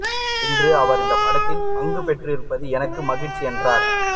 இன்று அவர் இந்த படத்தில் பங்கு பெற்றிருப்பது எனக்கு மகிழ்ச்சி என்றார்